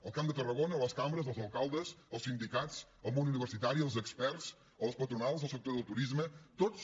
el camp de tarragona les cambres els alcaldes els sindicats el món universitari els experts les patronals el sector del turisme tots